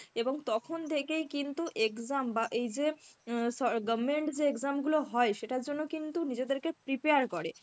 এবং তখন থেকেই কিন্তু exam বা এই যে অ্যাঁ সর government যে exam গুলো হয় সেটার জন্য কিন্তু নিজেদেরকে prepare করে.